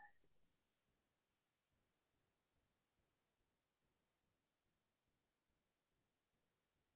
অহ্‌ ভাল লগা গীত বুলি কবলৈ গ'লেটো বহুতেই আছে